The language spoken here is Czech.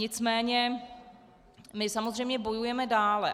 Nicméně my samozřejmě bojujeme dále.